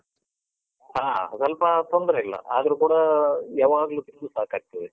ಹಾ, ಸ್ವಲ್ಪ ತೊಂದ್ರೆ ಇಲ್ಲ. ಆದ್ರೂ ಕೂಡ ಯಾವಾಗ್ಲೂ ತಿಂದೂ ಸಾಕಾಗ್ತದೆ.